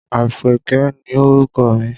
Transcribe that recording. Àpèké ni orúkọ mi.